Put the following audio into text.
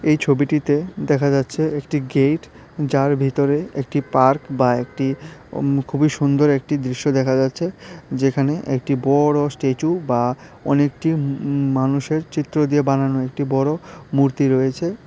এই ছবিটিতে দেখা যাচ্ছে একটি গেইট যার ভিতরে একটি পার্ক বা একটি উম খুবই সুন্দর একটি দৃশ্য দেখা যাচ্ছে যেখানে একটি বড়ো স্ট্যাচু বা অনেকটি উম মানুষের চিত্র দিয়ে বানানো একটি বড়ো মূর্তি রয়েছে।